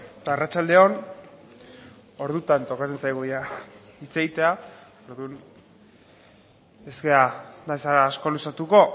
arratsalde on ordutan tokatzen zaigu hitz egitea orduan ez naiz asko luzatuko